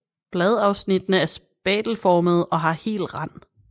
Bladafsnittene er spatelformede og har hel rand